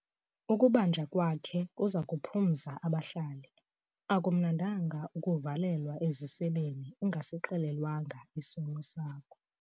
Ukubanjwa kwakhe kuza kuphumza abahlali. akumnandanga ukuvalelwa eziseleni ungasixelelwanga isono sakho